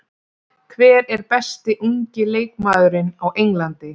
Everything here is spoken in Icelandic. Hver er besti ungi leikmaðurinn á Englandi?